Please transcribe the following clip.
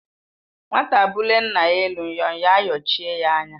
Nwata bulie nna ya elu, nnyọnyọ ayọchie ya anya